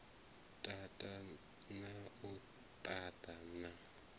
tata na u ṱaṱa na